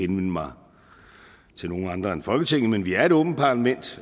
mig til nogen andre end folketinget men vi er et åbent parlament